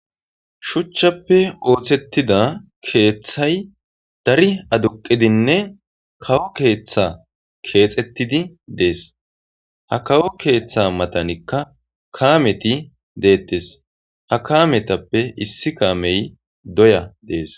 Suchchappe ooththettida keeththay dari aduqidinne kawo keeththa keexettidi dees ha kawo keeththa matanikka kaameti deettes ha kaametappe issi kaamey doya dees.